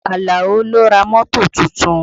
Alao ló ra mọ́tò tuntun